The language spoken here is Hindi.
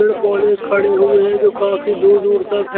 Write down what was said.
पेड़-पौधे खड़े हुए हैं जो कफी दूर-दूर तक है।